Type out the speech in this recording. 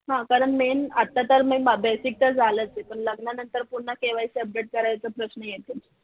हा कारण main आता तर मी basic तर झालंच आहे पण लग्नानंतर पुन्हा KYC update करायचं प्रश्न येतो.